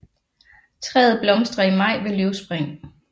Træet blomstrer i maj ved løvspring